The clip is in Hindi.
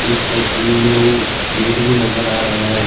इस तस्वीर में गेट भी नजर आ रहा है।